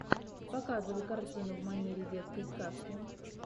показывай картину в манере детской сказки